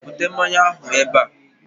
bute mmanya ahụ ebe a!